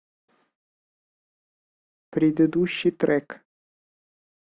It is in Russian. предыдущий трек